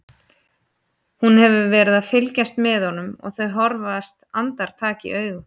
Hún hefur verið að fylgjast með honum og þau horfast andartak í augu.